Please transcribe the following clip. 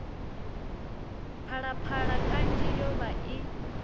phalaphala kanzhi yo vha i